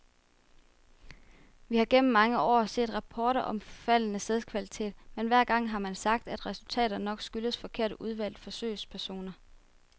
Vi har gennem mange år set rapporter om faldende sædkvalitet, men hver gang har man sagt, at resultaterne nok skyldtes forkert udvalgte forsøgspersoner.